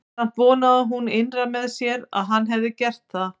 Samt vonaði hún innra með sér að hann hefði gert það.